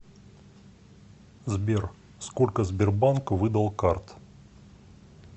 сбер сколько сбербанк выдал карт